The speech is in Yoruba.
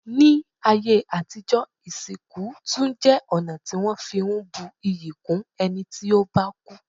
Ní ayé àtijọ́, ìsìnkú tún jẹ́ ọ̀nà tí wọ́n fi ń bu iyì kún ẹni tí ó bá kú.